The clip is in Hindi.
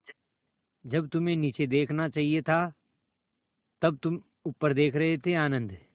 जब तुम्हें नीचे देखना चाहिए था तब तुम ऊपर देख रहे थे आनन्द